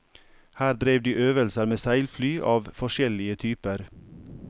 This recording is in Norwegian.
Her drev de øvelser med seilfly av forskjellige typer.